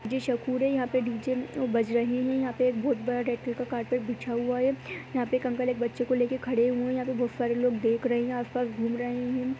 मुझे हो रहा है। यहाँ डीजे बज रहे हैं। यहां पे एक बहोत बड़ा का कारपेट बिछा हुआ है। यहां पर एक अंकल एक बच्चे को लेकर खड़े हुए हैं। यहां पर बहोत सारे लोग देख रहे है। आस-पास घूम रहे हैं।